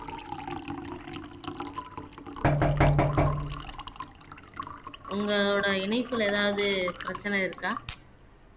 உங்களோட இணைப்பில ஏதாவது பிரச்சனை இருக்கா